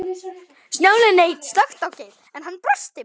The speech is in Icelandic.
Stjáni leit snöggt á Geir, en hann brosti bara.